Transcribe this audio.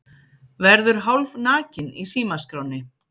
Verður hálfnakinn í símaskránni